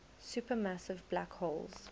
supermassive black holes